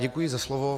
Děkuji za slovo.